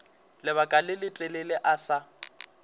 lebaka le letelele a sa